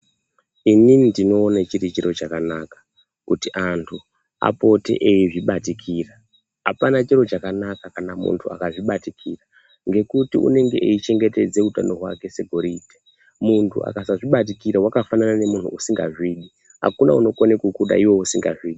Ini ndinowone chirichiro chakanaka kuti antu apote eyizvibatikira. Hapana chiro chakanaka kana muntu akazvibatikira ngekuti unenge eyichengetedze hutano hwake segoride. Muntu akasazvibatikirwa wakafanana nemuntu usingazvide. Hakuna unokone kukuda iwe usingazvidi .